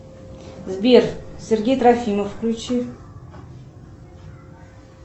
сбер сергей трофимов включи